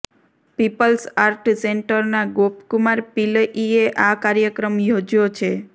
people's art સેન્ટરના ગોપકુમાર પિલ્લઈએ આ કાર્યક્રમ યોજ્યો છે